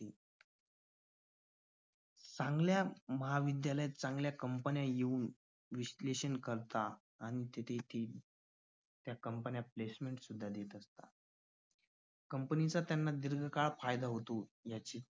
चांगल्या महाविद्यालय चांगल्या कंपन्या येऊन विश्लेषण करतात आणि जिथे त्या कंपन्या placement सुद्धा देतात कंपनीचा त्यांना दीर्घकाळ फायदा होतो.